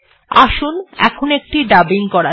আসুন এখন একটি ডাবিং করা যাক